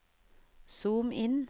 zoom inn